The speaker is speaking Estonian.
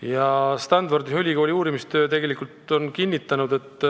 Ühes Stanfordi Ülikooli uurimistöös on leitud,